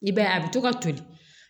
I b'a ye a bɛ to ka toli